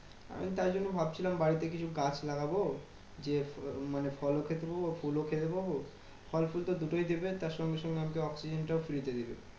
আমি তাই জন্য ভাবছিলাম বাড়িতে কিছু গাছ লাগাবো। যে মানে ফল খেতে পাবো। ফুল খেতে পাবো। ফল ফুল তো দুটোই দেবে। তার সঙ্গে সঙ্গে আমাকে oxygen টাও free দেবে।